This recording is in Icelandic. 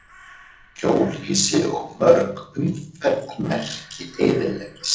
Hjólhýsi og mörg umferðarmerki eyðileggjast.